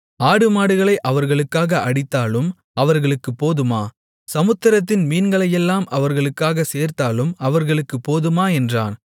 ஆடுமாடுகளை அவர்களுக்காக அடித்தாலும் அவர்களுக்குப் போதுமா சமுத்திரத்தின் மீன்களையெல்லாம் அவர்களுக்காகச் சேர்த்தாலும் அவர்களுக்குப் போதுமா என்றான்